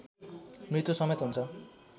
मृत्युसमेत हुन्छ